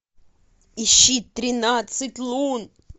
ищи тринадцать лун